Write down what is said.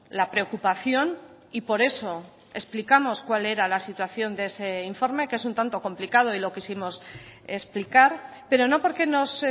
la preocupación y por eso explicamos cuál era la situación de ese informe que es un tanto complicado y lo quisimos explicar pero no porque nos